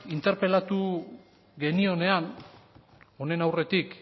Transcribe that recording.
interpelatu genionean honen aurretik